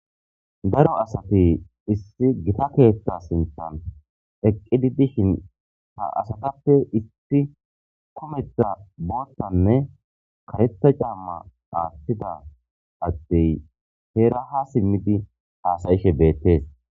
Daro asati issi gita keethta sintan eqqidi dishin ha asatappe isti kometha boottanne karetta camma aattida addey heera ha simmidi haasayishe beettees